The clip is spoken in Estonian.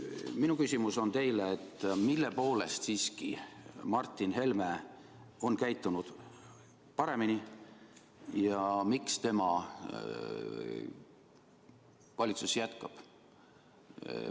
Minu küsimus teile on: mille poolest siiski Martin Helme on käitunud paremini ja miks tema valitsuses jätkab?